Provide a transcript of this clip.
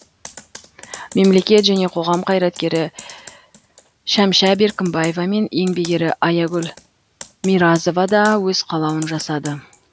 мемлекет және қоғам қайраткері шәмшә беркімбаева мен еңбек ері аягүл миразова да өз қалауын жасады